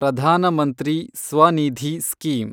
Pradhan Mantri SVANidhi scheme